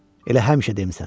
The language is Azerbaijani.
Elə həmişə demisən.